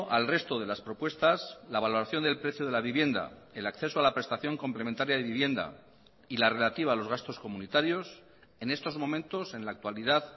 al resto de las propuestas la valoración del precio de la vivienda el acceso a la prestación complementaria de vivienda y la relativa a los gastos comunitarios en estos momentos en la actualidad